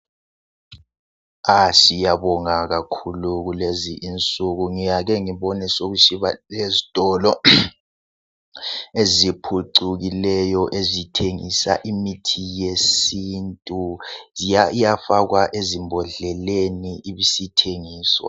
Siyabonga kakhulu kulezinsuku ngiyake ngibone sokusiba lezitolo eziphucukileyo ezithengisa imithi yesintu iyafakwa ezimbodleleni ibisithengiswa.